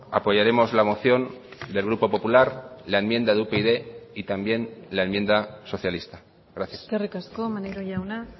apoyaremos la moción del grupo popular la enmienda de upyd y también la enmienda socialista gracias eskerrik asko maneiro jauna